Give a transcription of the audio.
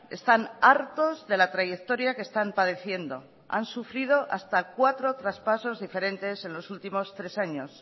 están hartos de la trayectoria que están padeciendo han sufrido hasta cuatro traspasos diferentes en los últimos tres años